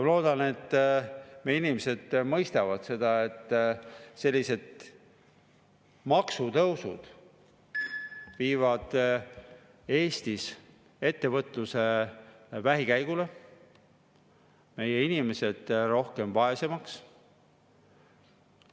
Ma loodan, et meie inimesed mõistavad seda, et sellised maksutõusud viivad Eestis ettevõtluse vähikäigule, meie inimesed vaesemaks.